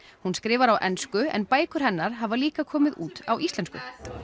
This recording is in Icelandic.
hún skrifar á ensku en bækur hennar hafa líka komið út á íslensku